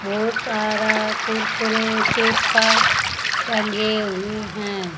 बहोत सारा कुरकुरे चिपस टंगे हुए हैं।